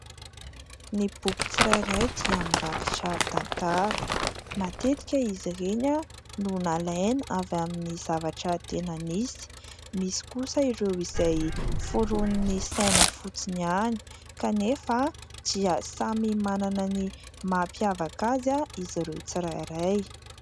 Ny boky tsirairay dia mirakitra tantara, matetika izy ireny no nalaina avy amin'ny zavatra tena nisy, misy kosa ireo izay foronin' ny saina fotsiny ihany kanefa dia samy manana ny mampiavaka azy izy ireo tsirairay.